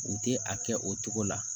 U tɛ a kɛ o cogo la